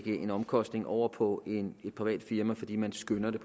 en omkostning over på et privat firma fordi man skønner at det